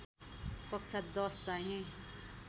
कक्षा १० चाहिँ